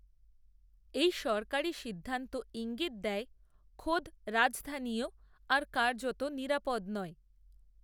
এই সরকারি সিদ্ধান্ত ঈঙ্গিত দেয়, খোদ রাজধানীও, আর কার্যত নিরাপদ নয়